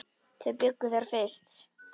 Þau bjuggu þar fyrst.